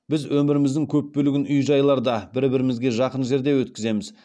біз өміріміздің көп бөлігін үй жайларда бір бірімізге жақын жерде өткіземіз